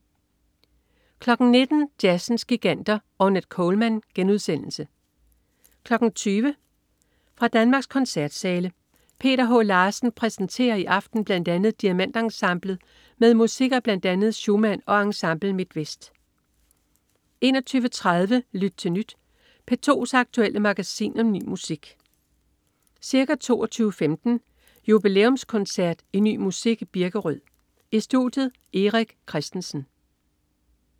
19.00 Jazzens giganter. Ornette Coleman* 20.00 Fra Danmarks koncertsale. Peter H. Larsen præsenterer i aften bl.a. DiamantEnsemblet med musik af bl.a. Schumann og Ensemble MidtVest 21.30 Lyt til Nyt. P2's aktuelle magasin om ny musik. Ca. 22.15 Jubilæumskoncert i Ny musik i Birkerød. I studiet: Erik Christensen